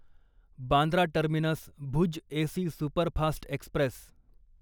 Bandra terminus Bhuj AC superfast Express